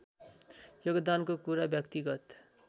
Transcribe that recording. योगदानको कुरा व्यक्तिगत